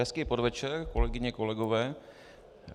Hezký podvečer, kolegyně, kolegové.